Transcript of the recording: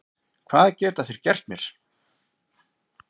Hvað geta þeir gert mér?